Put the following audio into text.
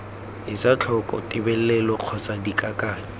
etse tlhoko tebelelo kgotsa dikakanyo